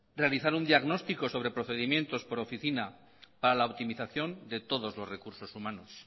realizar un diagnóstico sobre procedimientos por oficina para la optimización de todos los recursos humanos